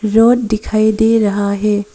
Road दिखाई दे रहा है।